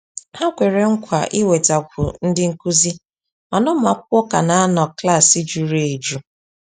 Ha kwere nkwa iwetakwu ndị nkuzi, mana ụmụ akwụkwọ ka na -anọ klaaai jụrụ ejụ.